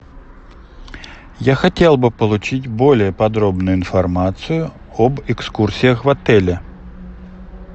я хотел бы получить более подробную информацию об экскурсиях в отеле